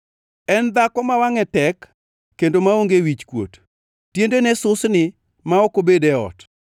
En dhako ma wangʼe tek kendo maonge wichkuot, tiendene susni ma ok obed e ot;